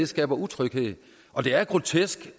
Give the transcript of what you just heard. skaber utryghed og det er grotesk